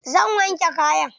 Zan wanke kayan.